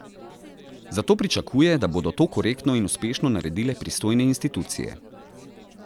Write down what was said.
Zato pričakuje, da bodo to korektno in uspešno naredile pristojne institucije.